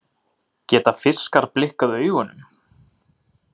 Geta fiskar blikkað augunum?